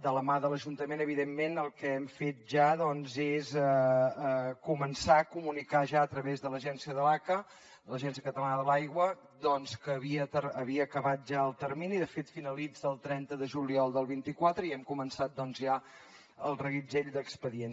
de la mà de l’ajuntament evidentment el que hem fet ja és començar a comunicar ja a través de l’agència de l’aca de l’agència catalana de l’aigua doncs que havia acabat ja el termini de fet finalitza el trenta de juliol del vint quatre i hem començat ja el reguitzell d’expedients